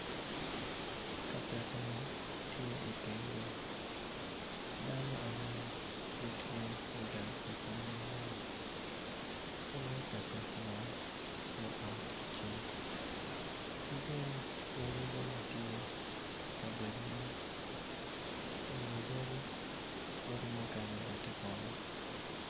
Ka piko mo tye i teng yo dano angwen gitye i ka piko moo man i nget ka piko moo tye ot acel ki dongyadi bene tye.